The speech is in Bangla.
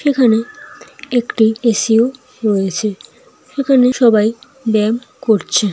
এখানে একটি এ.সি. ও রয়েছে এখানে সবাই ব্যায়াম করছে।